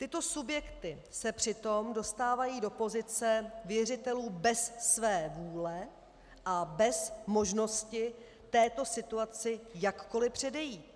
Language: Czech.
Tyto subjekty se přitom dostávají do pozice věřitelů bez své vůle a bez možnosti této situaci jakkoliv předejít.